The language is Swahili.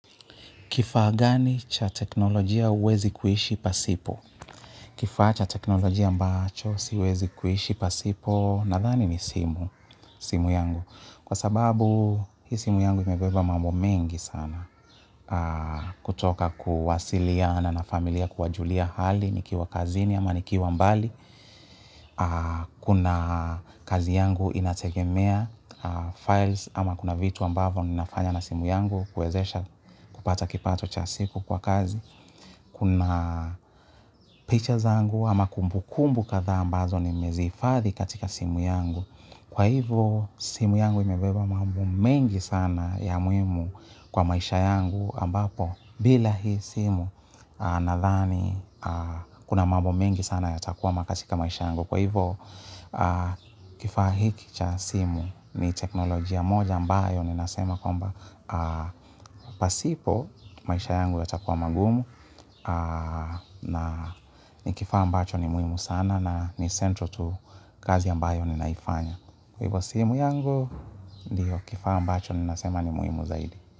Kifaa gani cha teknolojia huwezi kuishi pasipo? Kifaa cha teknolojia ambacho siwezi kuishi pasipo nadhani ni simu yangu. Kwa sababu, hii simu yangu imebeba mambo mengi sana. Kutoka kuwasiliana na familia kuwajulia hali, nikiwa kazini ama nikiwa mbali. Kuna kazi yangu inategemea files ama kuna vitu ambavo ninafanya na simu yangu. Kuwezesha kupata kipato cha siku kwa kazi. Kuna picha zangu ama kumbu kumbu kadha ambazo nimezihifadhi katika simu yangu. Kwa hivo simu yangu imebeba mambo mengi sana ya muhimu kwa maisha yangu ambapo. Bila hii simu na dhani kuna mambo mengi sana yatakuwama katika maisha yangu. Kwa hivo kifaa hiki cha simu ni teknolojia moja ambayo ninasema kwamba pasipo maisha yangu yatakua magumu na ni kifaa ambacho ni muhimu sana na ni centro tu kazi ambayo ninaifanya. Kwa hivo simu yangu ndio kifaa ambacho ninasema ni muhimu zaidi.